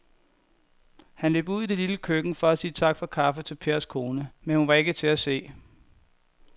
Han løb ud i det lille køkken for at sige tak for kaffe til Pers kone, men hun var ikke til at se.